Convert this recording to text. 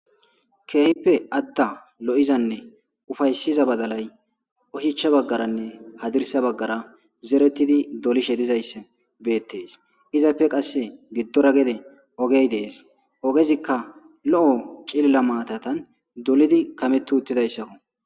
Keehippe atta lo'izanne ufaysiza badalay ohicha baggaranne hadirsa baggara zerettidi dolishe dizaysse beettees izappe qasse giddora gede ogey dees ogezikka lo'o cilla maatatan dolidi kametu uttidayssakko.